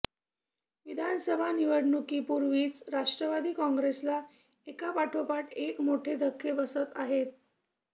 विधानसभा निवडणुकीपूर्वीच राष्ट्रवादी काँग्रेसला एकापाठोपाठ एक मोठे धक्के बसत आहेत